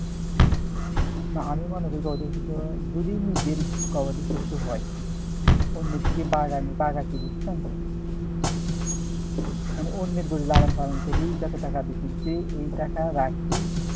না আমি মনে করি যদি নিজের গবাদিপশু হয় মানে অন্যের গরু লালন পালন করে যত টাকা দিয়ে কিনছে এই টাকা রেখে